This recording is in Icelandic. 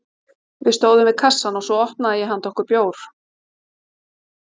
Við stóðum við kassann og svo opnaði ég handa okkur bjór.